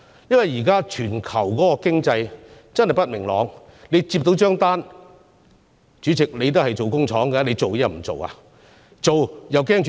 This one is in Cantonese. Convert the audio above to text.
現時全球經濟不明朗，如果企業收到訂單——主席，你也是營運工廠的——究竟要不要開始生產呢？